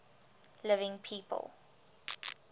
living people